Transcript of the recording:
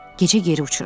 Gecə geri uçuram.